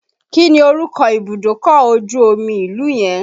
Kí ni orúkọ ibùdókọ̀ ojú omi ìlú yẹn?